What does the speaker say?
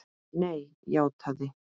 Nei, játaði